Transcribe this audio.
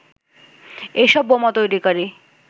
এসব বোমা তৈরিকারী